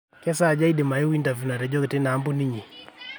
kesaaja aidim ayeu interview natejoki teina kampuni inyi